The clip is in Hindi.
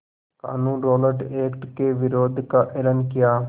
क़ानून रौलट एक्ट के विरोध का एलान किया